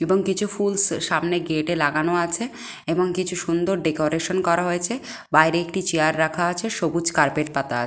এবং কিছু ফুল স সামনে গেট এ লাগানো আছে এবং কিছু সুন্দর ডেকোরেশন করা হয়েছে বাইরে একটি চেয়ার রাখা আছে সবুজ কার্পেট পাতা।